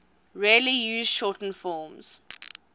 rarely used shortened forms